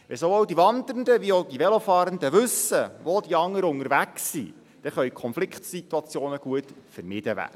Wenn sowohl die Wandernden wie auch die Velofahrenden wissen, wo die anderen unterwegs sind, können Konfliktsituationen gut vermieden werden.